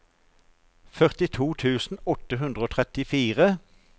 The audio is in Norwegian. førtito tusen åtte hundre og trettifire